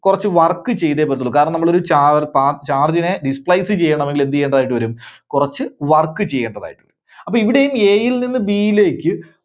കുറച്ച് work ചെയ്തേ പറ്റുള്ളൂ. കാരണം നമ്മള് ഒരു ചാർ~ചാ~ charge നെ displace ചെയ്യണമെങ്കിൽ എന്ത് ചെയ്യേണ്ടതായിട്ട് വരും? കുറച്ച് work ചെയ്യേണ്ടതായിട്ട് വരും. അപ്പോ ഇവിടെയും A യിൽ നിന്ന് B യിലേക്ക്.